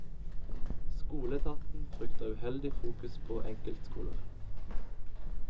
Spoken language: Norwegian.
Skoleetaten frykter uheldig fokus på enkeltskoler.